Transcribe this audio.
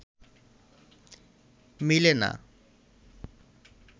মিলে না